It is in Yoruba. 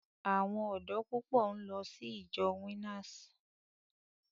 Àwọn ọ̀dọ́ púpọ̀ ń lọ sí ìjọ Winners.